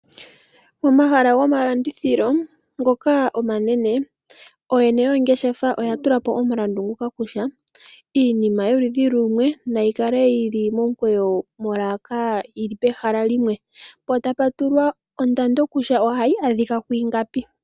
Omahala gomalandithilo ngoka omanene ooyene yoongeshefa oya tula po omulandu kutya iinima yoludhi lumwe nayi kale yi li momukweyo molaka yi li pehala limwe, po tapu tulwa ondando kutya ohayi adhika kwu ingapi.